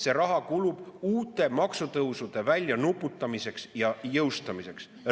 See raha kulub uute maksutõusude väljanuputamiseks ja jõustamiseks.